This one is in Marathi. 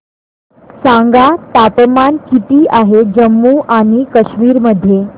सांगा तापमान किती आहे जम्मू आणि कश्मीर मध्ये